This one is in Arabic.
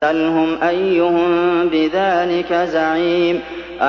سَلْهُمْ أَيُّهُم بِذَٰلِكَ زَعِيمٌ